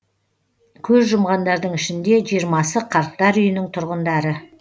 көз жұмғандардың ішінде жиырмасы қарттар үйінің тұрғындары